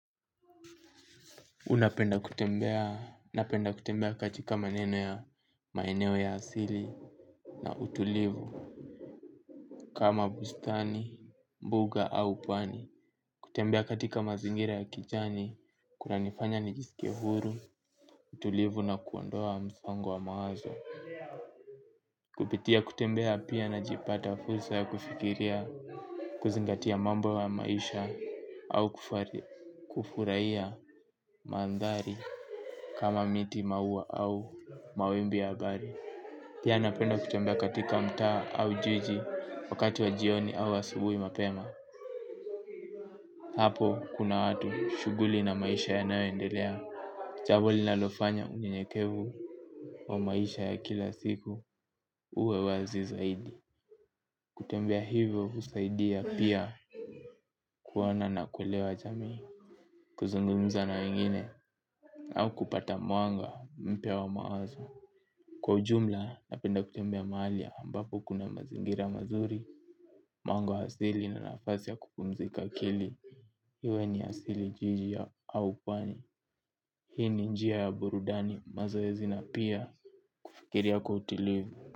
Unapenda kutembea, napenda kutembea katika maneno ya maeneo ya asili na utulivu kama bustani, mbuga au pwani. Kutembea katika mazingira ya kijani, kunanifanya nijisikie huru, utulivu na kuondoa msongo wa mawazo. Kupitia kutembea pia najipata fursa ya kufikiria kuzingatia mambo ya maisha au kufurahia mandhari. Kama miti maua au mawimbi ya angani. Pia napenda kutembea katika mtaa au jiji wakati wa jioni au wa asubuhi mapema. Hapo kuna watu shughuli na maisha ya nayoendelea jambo linalofanya unyenyekevu wa maisha ya kila siku uwe wazi zaidi. Kutembea hivyo husaidia pia kuona na kuewa jamii. Kuzungumza na wengine au kupata mwanga mpya wa mawazo. Kwa ujumla napenda kutembea mahali ambapo kuna mazingira mazuri. Mwanga wa asili na nafasi ya kupumzika akili iwe ni asili jiji ya aupwani. Hii ni njia ya burudani mazoezi na pia kufikriria kwa utulivu.